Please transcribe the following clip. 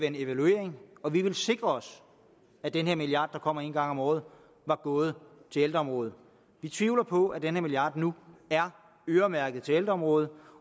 en evaluering og vi ville sikre os at den her milliard der kommer en gang om året var gået til ældreområdet vi tvivler på at den her milliard nu er øremærket til ældreområdet